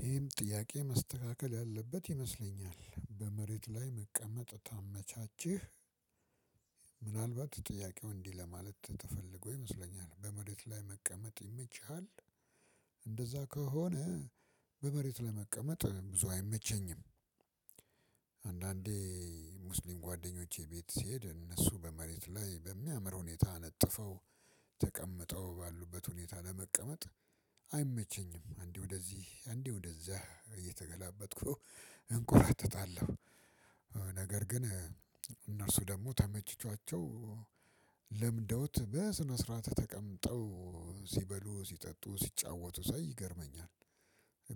ይሄም ጥያቄ መስተካከል ያለበት ይመስለኛል በመሬት ላይ መቀመጥ ታመቻቸህ ምናልባት ጥያቄው እንዲህ ለማለት ተፈልጎ ይመስለኛል በመሬት ላይ መቀመጥ ይመችሃል። እንደዛ ከሆነ በመሬት ላይ መቀመጥ ብዙ አይመቸኝም። አንዳንዴ ሙስሊም ጓደኞቼ ቤት ስሄድ እነሱ በመሬት ላይ በሚያምር ሁኔታ አነጥፈው ተቀምጠው ባሉበት ሁኔታ ለመቀመጥ አይመቸኝም። አንዴ ወደዚህ አንዴ ወደዛ እየተገላበጥኩ እንቆራጠጣለሁ። ነገር ግን እነርሱ ደግሞ ተመችቶአቸው ለምደውት በስነ ስርዓት ተቀምጠው ሲበሉ ሲጠጡ ሲጫወቱ ሳይ ይገርመኛል።